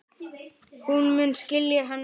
Hún mun skilja hana seinna.